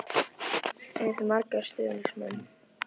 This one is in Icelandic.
Eigið þið marga stuðningsmenn?